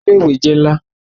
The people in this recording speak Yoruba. Ile-iwe jẹ nla